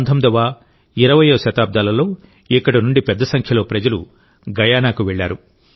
19వ20వ శతాబ్దాలలో ఇక్కడి నుండి పెద్ద సంఖ్యలో ప్రజలు గయానాకు వెళ్ళారు